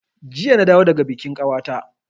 Jiya na dawo daga bikin kawata